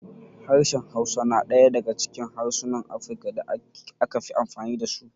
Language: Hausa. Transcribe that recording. Harshen Hausa na ɗaya daga cikin harsunan Afirka da aka fi amfani da su.